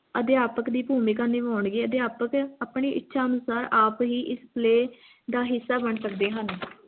ਅਧਿਆਪਕ ਦੀ ਭੂਮਿਕਾ ਨਿਭਾਉਣਗੇ ਅਧਿਆਪਕ ਆਪਣੀ ਇੱਛਾ ਅਨੁਸਾਰ ਆਪ ਹੀ ਇਸ play ਦਾ ਹਿੱਸਾ ਬਣ ਸਕਦੇ ਹਨ